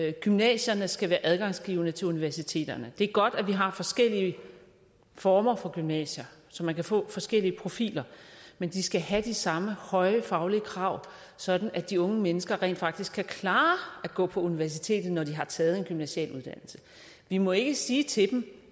at gymnasierne skal være adgangsgivende til universiteterne det er godt at vi har forskellige former for gymnasier så man kan få forskellige profiler men de skal have de samme høje faglige krav sådan at de unge mennesker rent faktisk kan klare at gå på universitetet når de har taget en gymnasial uddannelse vi må ikke sige til dem